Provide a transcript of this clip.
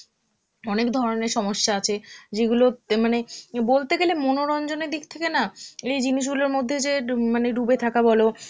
অনেক ধরনের সমস্যা আছে যেগুলো তে মানে বলতে গেলে মনোরঞ্জনের দিক থেকে না এই জিনিসগুলোর মধ্যে যে মানে ডুবে থাকা বলো